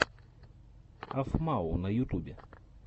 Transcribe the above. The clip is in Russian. афмау на ютубе